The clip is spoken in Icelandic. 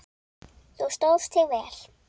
Þú stóðst þig vel.